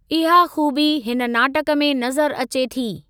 इहा खूबी हिन नाटक में नज़रि अचे थी।